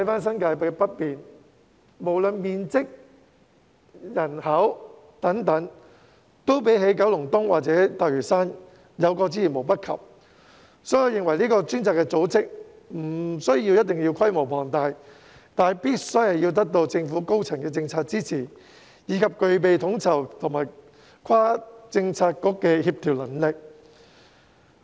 新界北面的面積和人口均較九龍東或大嶼山有過之而無不及，所以我認為相關的專責組織不一定要規模龐大，但必須得到政府高層的政策支持，以及具備統籌和跨政策局的協調能力。